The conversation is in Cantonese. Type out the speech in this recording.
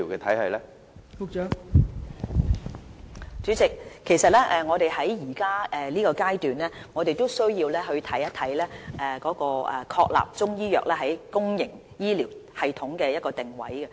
代理主席，我們現階段是需要確立中醫藥在公營醫療系統的定位。